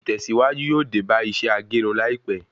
Ìtèsíwájú yóò dé bá iṣẹ́ agerun láìpé